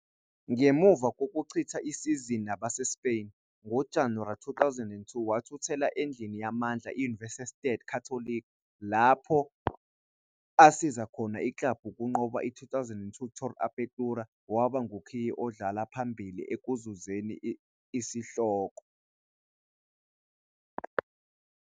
Ngemuva kokuchitha isizini nabaseSpain, ngoJanuwari 2000, wathuthela endlini yamandla iUniversidad Católica lapho asiza khona iklabhu ukunqoba i-2002 Torneo Apertura, waba ngukhiye odlala phambili ekuzuzeni isihloko.